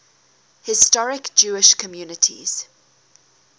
historic jewish communities